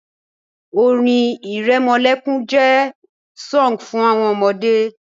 Lullabies are sunfg for babies